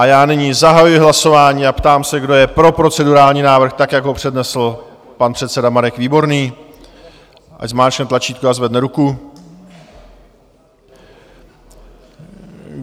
A já nyní zahajuji hlasování a ptám se, kdo je pro procedurální návrh, tak jak ho přednesl pan předseda Marek Výborný, ať zmáčkne tlačítko a zvedne ruku.